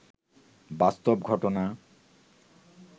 বাস্তব ঘটনা